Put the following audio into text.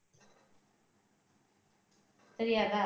தெரியாதா